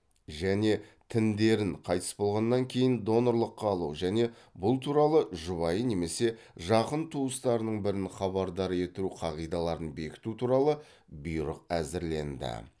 және тіндерін қайтыс болғаннан кейін донорлыққа алу және бұл туралы жұбайын немесе жақын туыстарының бірін хабардар ету қағидаларын бекіту туралы бұйрық әзірленді